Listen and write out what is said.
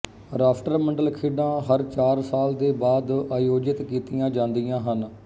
ਰਾਸ਼ਟਰਮੰਡਲ ਖੇਡਾਂ ਹਰ ਚਾਰ ਸਾਲ ਦੇ ਬਾਅਦ ਆਯੋਜਿਤ ਕੀਤੀਆਂ ਜਾਂਦੀਆਂ ਹਨ